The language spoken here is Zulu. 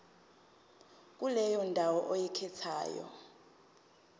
kuleyo ndawo oyikhethayo